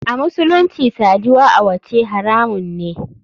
A musulunci sadiwa awace haramun ne.